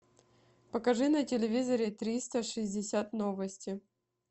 покажи на телевизоре триста шестьдесят новости